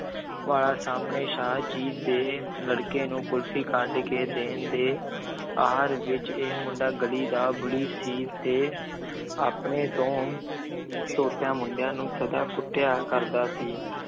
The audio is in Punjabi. ਵਾਲਾ ਸਾਹਮਣੇ ਸ਼ਾਹ ਜੀ ਦੇ ਲੜਕੇ ਨੂੰ ਕੁਲਫ਼ੀ ਕੱਢ ਕੇ ਦੇਣ ਦੇ ਆਹਰ ਵਿੱਚ, ਇਹ ਮੁੰਡਾ ਗਲੀ ਦਾ ਬੁਲੀ ਸੀ ਤੇ ਆਪਣੇ ਤੋਂ ਛੋਟਿਆਂ ਮੁੰਡਿਆਂ ਨੂੰ ਸਦਾ ਕੁੱਟਿਆ ਕਰਦਾ ਸੀ।